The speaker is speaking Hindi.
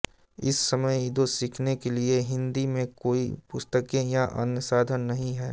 इस समय ईदो सीखने के लिए हिन्दी में कोई पुस्तकें या अन्य साधन नही है